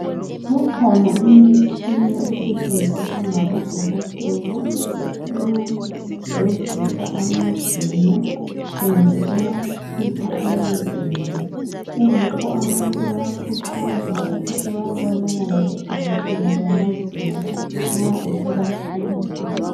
Ikhona imitshina esetshenziswa ngabodokotela eyokugezisa amazinyo kumbe eyokukhipha amazinyo. Kungakho abantu bayakhuthazwa ukuthi bayebonana labodokotela bamazinyo nxa esebahlupha.